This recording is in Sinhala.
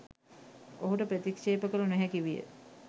ඔහුට ප්‍රතික්ශේප කල නොහැකි විය.